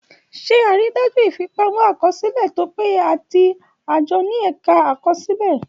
Ṣe àrídájú ìfipamọ́-àkọsílẹ̀ tó péye àti àjọ ní Ẹ̀ka Àkọsílẹ̀.